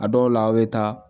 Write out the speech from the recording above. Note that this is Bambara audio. A dɔw la a' bɛ taa